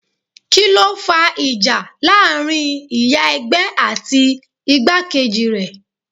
Kíló fa ìjà láàárín ìyá ẹgbẹ́ àti igbákejì rẹ̀?